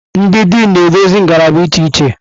Ndị Dịnụ na-eduzi ngalaba iche iche.